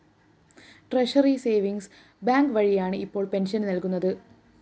treasury savings bank വഴിയാണ്‌ ഇപ്പോള്‍ pension നല്‍കുന്നത്‌